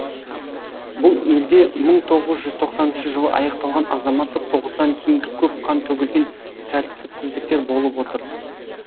бұл елде мың тоғыз жүз тоқсаныншы жылы аяқталған азаматтық соғыстан кейінгі көп қан төгілген тәртіпсіздіктер болып отыр